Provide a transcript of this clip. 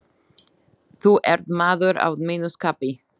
Þú ert maður að mínu skapi.